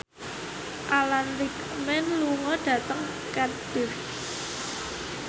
Alan Rickman lunga dhateng Cardiff